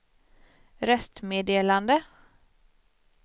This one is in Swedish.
röstmeddelande